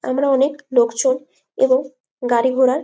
আমরা অনেক লোকজন এবং গাড়ি ঘোড়ার --